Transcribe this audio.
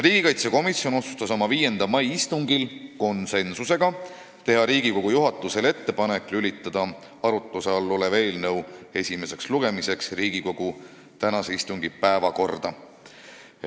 Riigikaitsekomisjon otsustas 5. aprilli istungil konsensusega teha Riigikogu juhatusele ettepaneku lülitada arutluse all olev eelnõu esimeseks lugemiseks Riigikogu tänase istungi päevakorda.